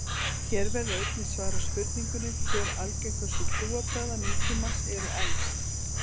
Hér verður einnig svarað spurningunni: Hver algengustu trúarbragða nútímans eru elst?